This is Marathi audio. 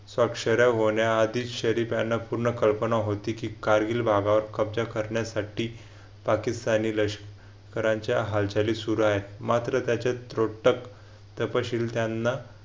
अक्षरे होण्याआधी शरीफ यांना पूर्ण कल्पना होती कारगिल भागावर कब्जा करण्यासाठी पाकिस्तानी लष्कराच्या हालचाली सुरू आहेत मात्र त्याचे त्रोटक तपशील त्यांना